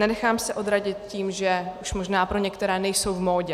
Nenechám se odradit tím, že už možná pro některé nejsou v módě.